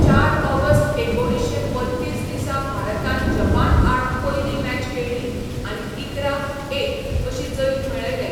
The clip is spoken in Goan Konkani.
चार ऑगस्ट एकुणीशें बत्तीस दिसा भारतान जपानआड पयली मॅच खेळ्ळी आनी इकरा एक अशी जैत मेळयलें.